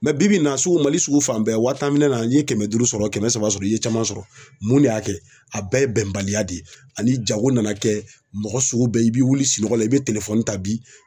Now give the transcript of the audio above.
bi bi in na sugu Mali sugu fan bɛɛ wa tan minɛ na n'i kɛmɛ duuru sɔrɔ, kɛmɛ saba sɔrɔ i ye caman sɔrɔ. Mun de y'a kɛ? A bɛɛ ye bɛnbaliya de ye ani jago nana kɛ mɔgɔ sugu bɛɛ i be wuli sinɔgɔ la i be ta bi